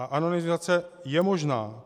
A anonymizace je možná.